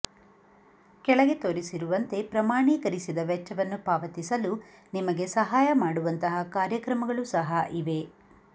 ಕೆಳಗೆ ತೋರಿಸಿರುವಂತೆ ಪ್ರಮಾಣೀಕರಿಸಿದ ವೆಚ್ಚವನ್ನು ಪಾವತಿಸಲು ನಿಮಗೆ ಸಹಾಯ ಮಾಡುವಂತಹ ಕಾರ್ಯಕ್ರಮಗಳು ಸಹ ಇವೆ